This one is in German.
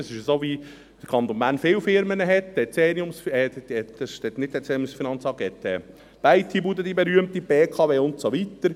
Das ist so, weil der Kanton Bern viele Firmen hat: die berühmte IT-Bude, die BKW und so weiter.